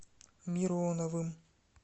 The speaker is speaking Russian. мироновым